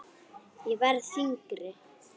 Ég verð þyngri.